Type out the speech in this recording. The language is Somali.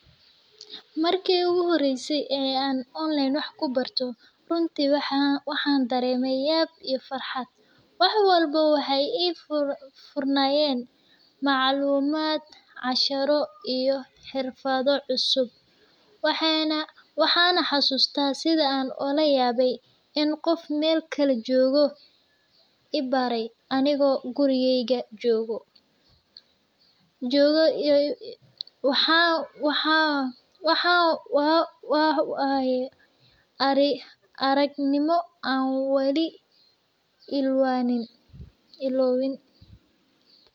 Marki uguhoreyse oo online wax kubarto runti waxan dareme yab iyo farxad. Wax walbo waxaay ifurnayen maclumad , casharo iyo xirfado cusub, waxay na xasustah sida an ulayabe in qof mel kale jogo ibare anigo gurigeyga jogo , waxaan waye aragnimo an weli ilawin.